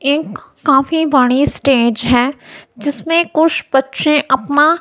एक काफी बड़ी स्टेज है जिसमें कुछ बच्चे अपना--